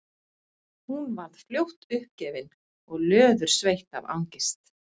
Hún varð fljótt uppgefin og löðursveitt af angist.